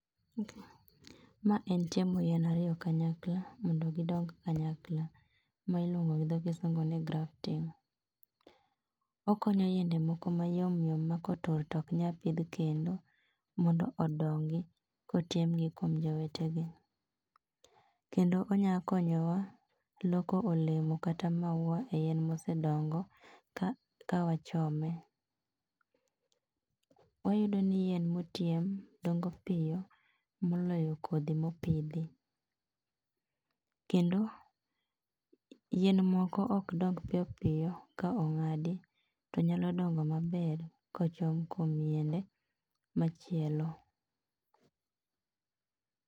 Ma en chomo ariyo kanyakla mondo gidong kanyakla ma iluong gi dho kisungu ni grafting. Okonyo yiende moko mayomyom ma kotur tok nyal pidh kendo mondo odongi kochom gi kuom jowetegi. Kendo onyalo konyowa e loko olemo kata maua mosedongo ka wachome. Wayudo ni yien mochom dongo piyo moloyo kodho mopidhi kendo yien moko ok dong piyopiyo kong'adi to nyalo dongo maber kochom kuom yiende machielo